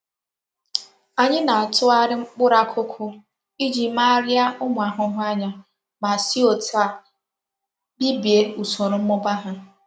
Anyi na-atughari mkpuru akuku Iji megharia umu ahuhu anya ma si otu a bibie usoro mmuba ha.